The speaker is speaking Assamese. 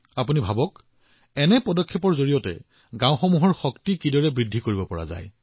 আপোনালোকে ভাবক এনে ধৰণৰ প্ৰচেষ্টাই আমাৰ গাওঁবোৰৰ শক্তি কিমান বৃদ্ধি কৰিব পাৰে